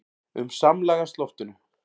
um samlagast loftinu.